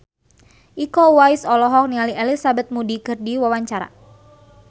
Iko Uwais olohok ningali Elizabeth Moody keur diwawancara